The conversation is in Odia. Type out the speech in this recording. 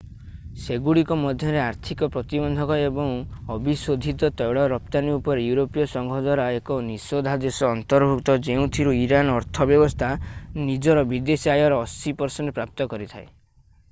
ସେଗୁଡ଼ିକ ମଧ୍ୟରେ ଆର୍ଥିକ ପ୍ରତିବନ୍ଧକ ଏବଂ ଅବିଶୋଧିତ ତୈଳ ରପ୍ତାନି ଉପରେ ୟୁରୋପୀୟ ସଂଘ ଦ୍ଵାରା ଏକ ନିଷେଧାଦେଶ ଅନ୍ତର୍ଭୁକ୍ତ ଯେଉଁଥିରୁ ଇରାନର ଅର୍ଥ ବ୍ୟବସ୍ଥା ନିଜର ବିଦେଶୀ ଆୟର 80% ପ୍ରାପ୍ତ କରିଥାଏ